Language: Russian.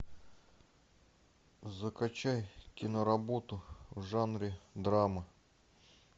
закачай киноработу в жанре драма